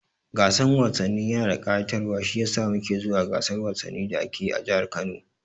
Gasan wasanni yana da kayatarwa shiyasa muke zuwa gasar wasannin da ake yi a jahar Kano